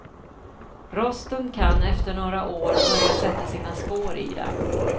Rosten kan efter några år börja sätta sina spår i dem.